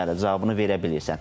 Bəli, cavabını verə bilirsən.